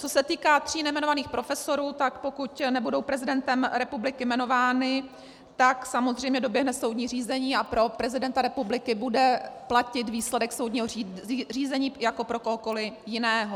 Co se týká tří nejmenovaných profesorů, tak pokud nebudou prezidentem republiky jmenováni, tak samozřejmě doběhne soudní řízení a pro prezidenta republiky bude platit výsledek soudního řízení jako pro kohokoli jiného.